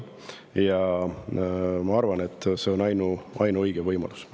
Ja ma arvan, et see on ainuõige võimalus.